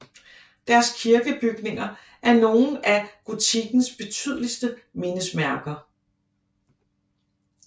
Deres kirkebygninger er nogle af gotikkens betydeligste mindesmærker